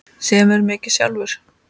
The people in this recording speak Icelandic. Semurðu mikið sjálfur?